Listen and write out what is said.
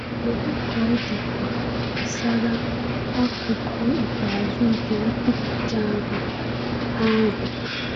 Kedu ka ọ dịkwa gbasara akụkụ ikpeazụ nke nkwupụta ahụ? ahụ?